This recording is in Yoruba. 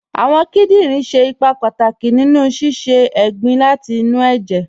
Awọn kìdìnrin ṣẹ̀ ìpà pátàkì nínu sísẹ̀ ègbìn láti inú ẹ̀jẹ̀